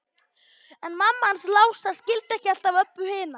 En mamma hans Lása skildi ekki alltaf Öbbu hina.